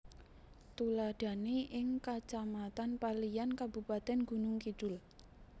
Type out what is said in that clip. Tuladhané ing Kacamatan Paliyan Kabupatén Gunung Kidul